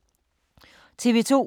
TV 2